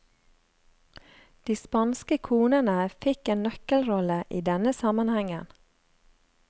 De spanske konene fikk en nøkkelrolle i denne sammenhengen.